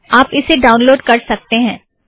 आप इसे डाउनलोड़ कर सकतें हैं